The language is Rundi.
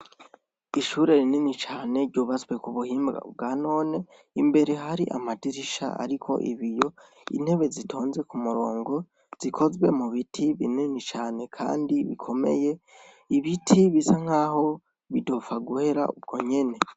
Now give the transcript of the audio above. Ishure rinini cane ryubatswe k'ubuhinga bwanone, imbere hari amadirisha ariko ibiyo, intebe zitonze k'umurongo zikozwe mubiti binini cane kandi Bikomeye ,ibiti bisa nkaho bitopfa guhera ubwo nyene.